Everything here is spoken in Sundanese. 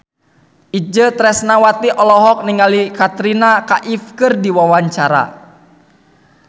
Itje Tresnawati olohok ningali Katrina Kaif keur diwawancara